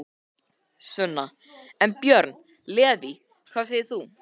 Sunna: En, Björn Leví, hvað segir þú?